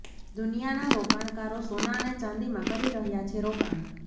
દુનિયાના રોકાણકારો સોના અને ચાંદીમાં કરી રહ્યા છે રોકાણ